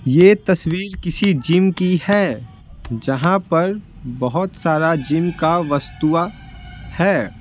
ये तस्वीर किसी जिम की है जहां पर बहुत सारा जिम का वस्तुवा है।